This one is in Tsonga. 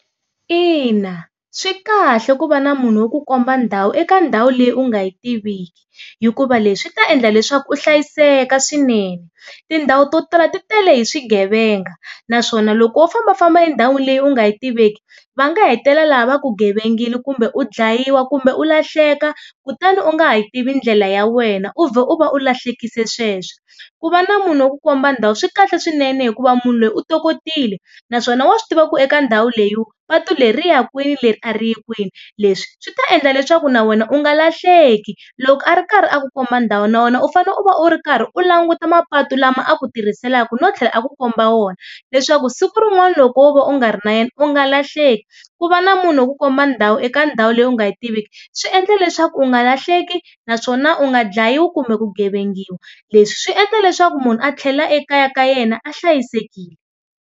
Ina swi kahle ku va na munhu wo ku komba ndhawu eka ndhawu leyi u nga yi tiviki hikuva leswi ta endla leswaku u hlayiseka swinene. Tindhawu to tala ti tele hi swigevenga naswona loko wo fambafamba endhawini leyi u nga yi tiveki va nga hetelela va ku gevengile kumbe u dlayiwa kumbe u lahleka kutani u nga ha yi tivi ndlela ya wena u vhe u va u lahlekile sweswo. Ku va na munhu wo ku komba ndhawu swikahle swinene hikuva munhu loyi u tokotile naswona wa swi tiva ku eka ndhawu leyiwa patu leri ya kwini leri a ri yi kwini, leswi swi ta endla leswaku na wena u nga lahleki loko a ri karhi a ku komba ndhawu na wena u fane u va u ri karhi u languta mapatu lama a ku tirhisaka no tlhela a ku komba wona leswaku siku rin'wani loko wo va u nga ri na yena u nga lahleki ku va na munhu wo ku komba ndhawu eka ndhawu leyi u nga yi tiviki swi endla leswaku u nga lahleki naswona u nga dlayiwi kumbe ku gevengiwa. Leswi swi endla leswaku munhu a tlhela ekaya ka yena a hlayisekile.